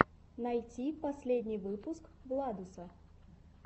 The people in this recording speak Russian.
найти последний выпуск владуса